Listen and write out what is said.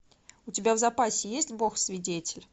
у тебя в запасе есть бог свидетель